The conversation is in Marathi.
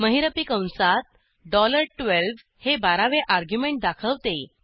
महिरपी कंसात 12 डॉलर बारा हे बारावे अर्ग्युमेंट दाखवते